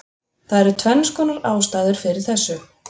Það eru tvennskonar ástæður fyrir þessu: